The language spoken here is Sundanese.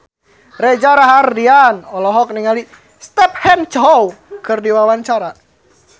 Reza Rahardian olohok ningali Stephen Chow keur diwawancara